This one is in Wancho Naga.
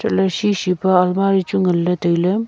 elah ley shi shi pa almari chu ngan ley tai ley.